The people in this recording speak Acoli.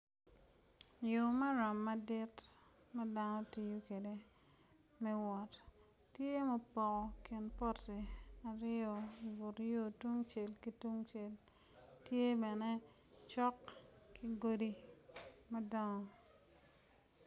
Yo maram madit ma dano tiyo kwede me wot tye ma opoko kin poti i but yo tung cel ki tuncel tye bene cok ki godi madongo.